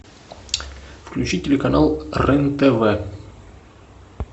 включи телеканал рен тв